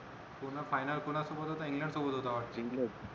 टूर्ना final कोणा सोबत होता इंग्लंड सोबत होता वाटत इंग्लंड